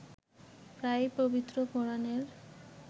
প্রায়ই পবিত্র কোরআনের